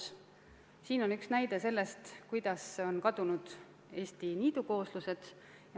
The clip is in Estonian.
Siin slaidil on üks näide sellest, kuidas on kadunud Eesti niidukooslused.